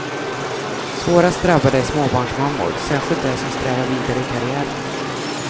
Svårast drabbade är småbarnsmammor, särskilt de som strävar vidare i karriären.